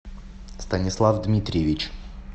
станислав дмитриевич